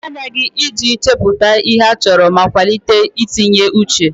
Ị ga-emechi anya gị iji chepụta ihe a chọrọ ma kwalite itinye uche.